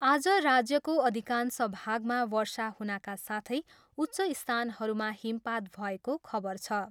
आज राज्यको अधिकांश भागमा वर्षा हुनका साथै उच्च स्थानहरूमा हिमपात भएको खबर छ।